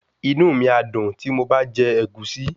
Inú mi á dùn tí mo bá jẹ Ẹ̀gúsí